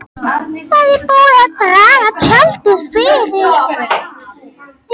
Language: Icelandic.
Það er búið að draga tjaldið fyrir.